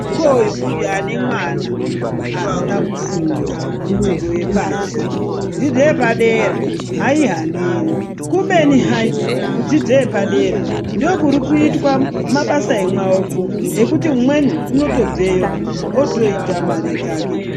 Hokoyo uyo ane mwana asina kufunda dzidzo yepashi. Dzidzo yepadera haaihaniri, kubeni hai kudzidzo yepadera ndokuri kuitwa mabasa emwaoko ekuti umweni unotobveyo otoita mare dzake.